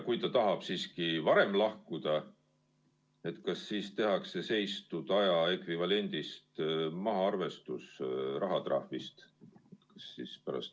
Kui ta tahab siiski varem lahkuda, kas siis tehakse seistud aja ekvivalendi põhjal mahaarvestus rahatrahvist?